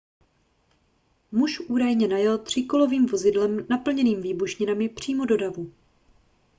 muž údajně najel tříkolovým vozidlem naplněným výbušninami přímo do davu